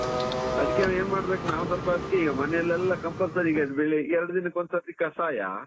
ಅದ್ಕೆ ಏನ್ ಮಾಡಬೇಕು ನಾವ್ ಸ್ವಲ್ಪ ಅದ್ಕೆ ಮನೇಲೆಲ್ಲಾ compulsory ಈಗ ಎರಡು ದಿನಕ್ಕೊಂದ್ಸರ್ತಿ ಕಷಾಯ.